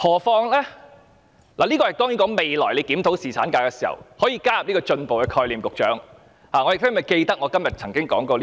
當然，這便是在未來檢討侍產假時可以加入的一個進步概念，我希望局長會記得我今天曾經提出這一點。